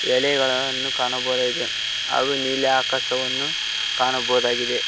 ಎಲೆಗಳನ್ನು ಕಾಣಬಹುದಾಗಿದೆ ಹಾಗು ನೀಲಿ ಆಕಾಶವನ್ನು ಕಾಣಬೋದಾಗಿದೆ.